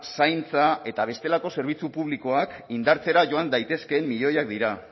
zaintza eta bestelako zerbitzu publikoak indartzera joan daitezkeen milioiak dira